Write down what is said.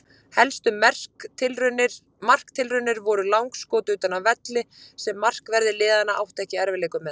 Helstu marktilraunir voru langskot utan af velli sem markverðir liðanna áttu ekki í erfiðleikum með.